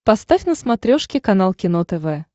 поставь на смотрешке канал кино тв